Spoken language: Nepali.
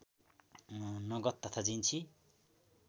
नगद तथा जिन्सी